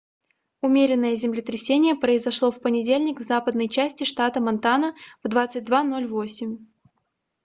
умеренное землетрясение произошло в понедельник в западной части штата монтана в 22:08